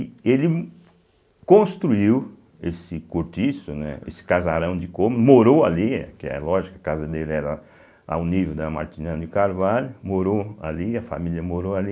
Ele construiu esse cortiço, né, esse casarão de cômodo, morou ali, que é lógico, a casa dele era ao nível da Martina de Carvalho, morou ali, a família morou ali.